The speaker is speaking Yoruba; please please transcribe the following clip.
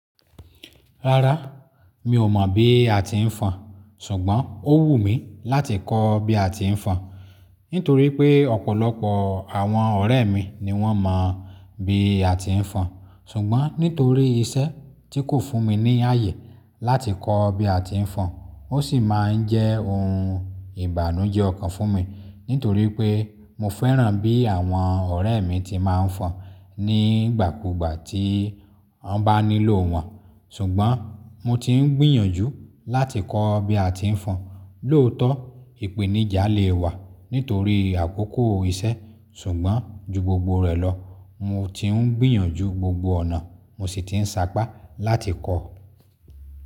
Rárá, mi ò mọ̀ bí a ti ń fọn, ṣùgbọ́n ó wù mí láti kọ́ bí a ti ń fọn nítorí pé ọ̀pọ̀lọpọ̀ àwọn ọ̀rẹ́ mi ni wọ́n mọ̀ bí a ti ń fọn. Ṣùgbọ́n nítorí iṣẹ́ tí kò fún mi ní ààyè láti kọ́ bí a ti ń fọn, ó sì máa ń jẹ́ ohun ìbànújẹ́ kan fún mi nítorí pé mo fẹ́ràn bí àwọn ọ̀rẹ́ mi ti máa ń fọn nígbàkúgbà tí wọ́n bá nílò wọn. Ṣùgbọ́n mo ti ń gbìyànjú láti kọ́ bí a ti ń fọn. Lóòótọ́, ìpèníjà le wà nítorí àkókò iṣẹ́, ṣùgbọ́n ju gbogbo rẹ̀ lọ, mo ti ń gbìyànjú gbogbo ọ̀nà, mo sì ti ń sapá láti kọ́.